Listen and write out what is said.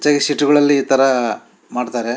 ತೆಗೆದ್ ಸೀಟುಗಳಲ್ಲಿ ಈ ತರ ಮಾಡ್ತಾರೆ.